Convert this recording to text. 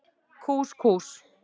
Kús Kús.